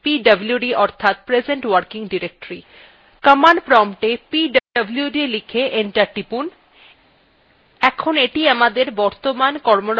command promptএ pwd লিখে enter টিপুন এখন এইটি আমাদের বর্তমান কর্মরত directory